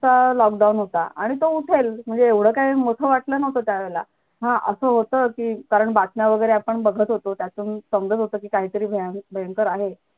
का lockdown होता आणि तो उठेल म्हणजे एवढं काय मोठं वाटलं नव्हतं त्या वेळेला हा असं होतं की कारण बातम्या वगैरे आपण बघत होतो त्यातून समजत होत कि कायतरी भयानक भंयकरआहे